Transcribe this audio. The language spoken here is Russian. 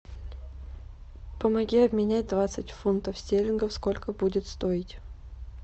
помоги обменять двадцать фунтов стерлингов сколько будет стоить